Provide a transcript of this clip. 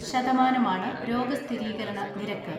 ശതമാനമാണ് രോഗസ്ഥിരീകരണനിരക്ക്.